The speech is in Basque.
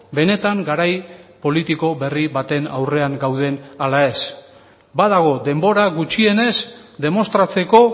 benetan garai politiko berri baten aurrean gauden ala ez badago denbora gutxienez demostratzeko